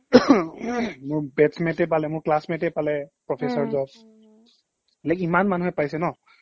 মোৰ batchmate তে পালে, মোৰ classmate তে পালে professor job like ইমান মানুহে পাইছে ন